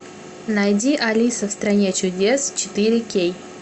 найди алиса в стране чудес четыре кей